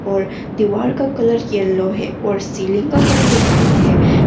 और दीवार का कलर येलो है और सीलिंग का कलर व्हाईट हैं।